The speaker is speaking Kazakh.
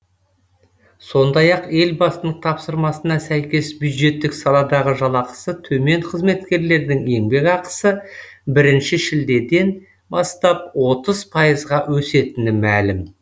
сондай ақ елбасының тапсырмасына сәйкес бюджеттік саладағы жалақысы төмен қызметкерлердің еңбекақысы бірінші шілдеден бастап отыз пайызға өсетіні мәлім